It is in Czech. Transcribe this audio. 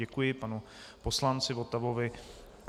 Děkuji panu poslanci Votavovi.